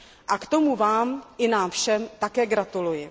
A k tomu vám i nám všem také gratuluji.